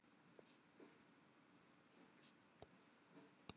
Það dugir ekkert minna fyrir fyrsta stefnumótið í lífinu.